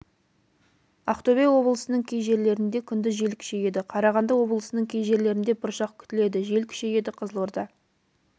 ақтөбе облысының кей жерлерінде күндіз жел күшейеді қарағанды облысының кей жерлерінде бұршақ күтіледі жел күшейеді қызылорда